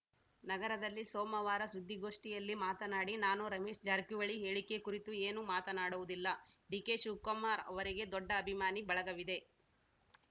ನಗರದಲ್ಲಿ ಸೋಮವಾರ ಸುದ್ದಿಗೋಷ್ಠಿಯಲ್ಲಿ ಮಾತನಾಡಿ ನಾನು ರಮೇಶ್‌ ಜಾರಕಿಹೊಳಿ ಹೇಳಿಕೆ ಕುರಿತು ಏನೂ ಮಾತನಾಡುವುದಿಲ್ಲ ಡಿಕೆಶಿವಕುಮಾರ್‌ ಅವರಿಗೆ ದೊಡ್ಡ ಅಭಿಮಾನಿ ಬಳಗವಿದೆ